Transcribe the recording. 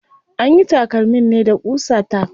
Anyi takalmin ne da ƙusa tack.